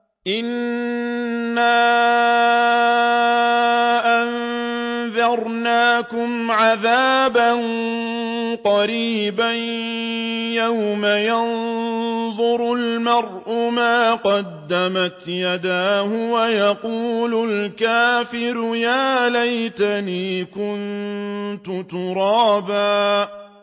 إِنَّا أَنذَرْنَاكُمْ عَذَابًا قَرِيبًا يَوْمَ يَنظُرُ الْمَرْءُ مَا قَدَّمَتْ يَدَاهُ وَيَقُولُ الْكَافِرُ يَا لَيْتَنِي كُنتُ تُرَابًا